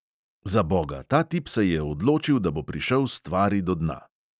Zaboga, ta tip se je odločil, da bo prišel stvari do dna.